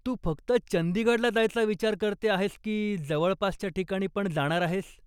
तू फक्त चंदीगडला जायचा विचार करते आहेस की जवळपासच्या ठिकाणी पण जाणार आहेस?